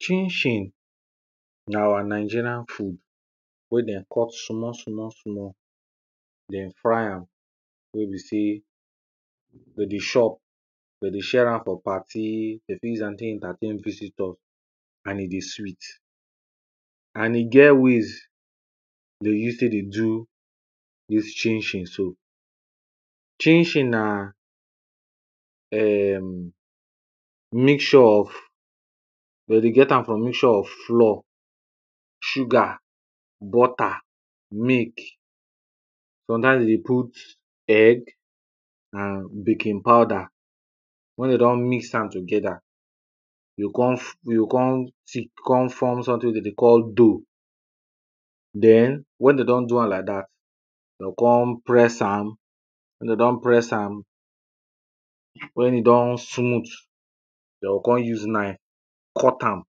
Chin-chin na our Nigerian food wen dem cut small small small, dem fry am, wey be say dem dey chop, dem share am for party, dem fit use am entertain visitor and e dey sweet And e get ways dem dey use take dey do dis chin-chin so, chin-chin na um mixture of them dey get am from mixture of flour, sugar, butter, milk, sometimes dem dey put egg and baking powder. Wen dem don mix am together, e go come, e go come thick, e go come form something wen dem dey call dough. Den wen dem don do am like dat, dem go come press am, wen dem don press am, wen e don smooth dem go come use knife cut am,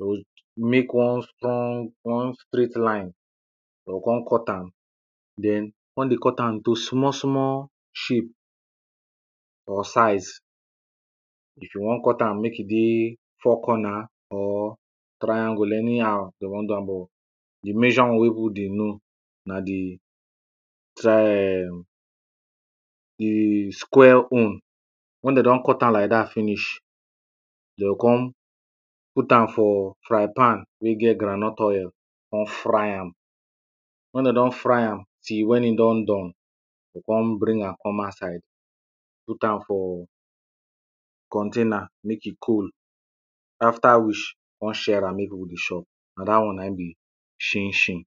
to make one strong, one straight line, dem go come cut am. Den come dey cut am into small small shape or size, if you wan cut am make e dey four corner or triangle anyhow dem wan do am but di major one wen people dey know na di tri um di square own. Wen dem don cut am like dat finish dem go come put am for frying pan wey get groundnut oil, come fry am, wen dem don fry am till wen e don done, dem go come bring am come outside, put am for container make e cool, after which dem go come share am make people dey shop, na dat one na im be shin-shin.